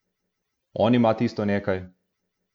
On ima tisto nekaj.